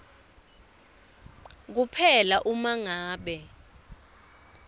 kuphela uma ngabe